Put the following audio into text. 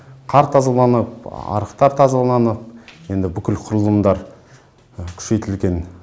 қар тазаланып арықтар тазаланып енді бүкіл құрылымдар күшейтілген